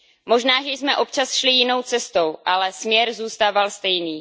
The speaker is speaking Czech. Možná, že jsme občas šli jinou cestou, ale směr zůstával stejný.